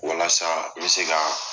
Walasa n me se ka